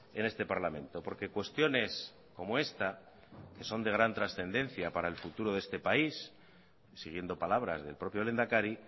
en este parlamento porque cuestiones como esta que son de gran trascendencia para el futuro de este país siguiendo palabras del propio lehendakari